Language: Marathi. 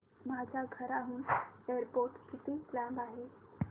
माझ्या घराहून एअरपोर्ट किती लांब आहे